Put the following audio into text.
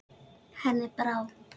Henni brá.